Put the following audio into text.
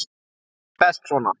Þetta er best svona.